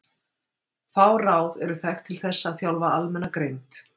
Fá ráð eru þekkt til þess að þjálfa almenna greind.